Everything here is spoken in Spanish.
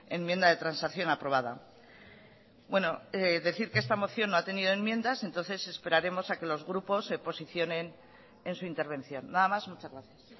enmienda de transacción aprobada bueno decir que esta moción no ha tenido enmiendas entonces esperaremos a que los grupos se posicionen en su intervención nada más muchas gracias